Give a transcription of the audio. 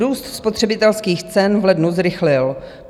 Růst spotřebitelských cen v lednu zrychlil.